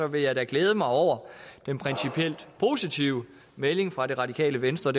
vil jeg da glæde mig over den principielt positive melding fra det radikale venstre